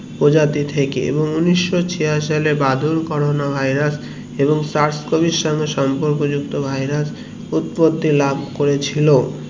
প্রজাতি থেকে এবং উনিশশো ছিয়াশি সালে বাদুড় corona virus এবং শাসকমিশন সম্পর্ক যুক্ত virus উৎপত্তি ল্যাব করেছিল